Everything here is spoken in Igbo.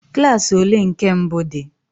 Klas ole nke mbụ dị?